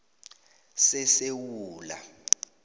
sesewula